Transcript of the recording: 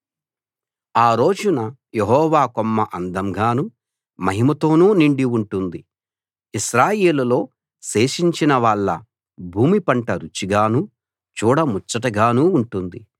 ఆ రోజున యెహోవా కొమ్మ అందంగానూ మహిమతోనూ నిండి ఉంటుంది ఇశ్రాయేలులో శేషించినవాళ్ళ భూమి పంట రుచిగానూ చూడ ముచ్చటగానూ ఉంటుంది